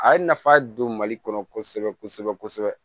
A ye nafa don mali kɔnɔ kosɛbɛ kosɛbɛ